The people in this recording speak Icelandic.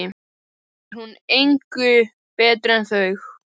Þá er hún engu betri en þau.